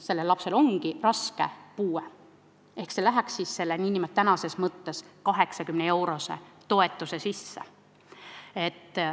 Sellel lapsel on raske puue ja see läheks selle tänase 80-eurose toetuse sisse.